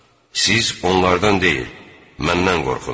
Siz onlardan deyil, məndən qorxun.